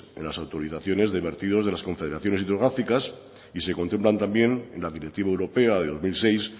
en las actualizaciones de vertidos de las confederaciones hidrográficas y se contemplan también en la directiva europea de dos mil seis